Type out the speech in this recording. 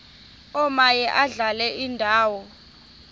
omaye adlale indawo